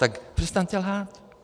Tak přestaňte lhát.